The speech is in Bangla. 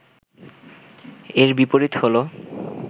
এর বিপরীত হল